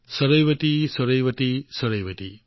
চৰৈৱতী চৰৈৱতী চৰৈৱতী